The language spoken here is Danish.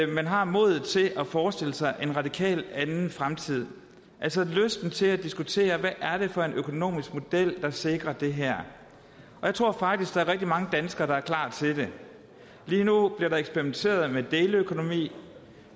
man har modet til at forestille sig en radikalt anden fremtid altså lysten til at diskutere hvad er det for en økonomisk model der sikrer det her jeg tror faktisk at der er rigtig mange danskere der er klar til det lige nu bliver der eksperimenteret med deleøkonomi